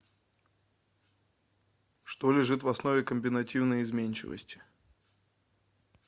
что лежит в основе комбинативной изменчивости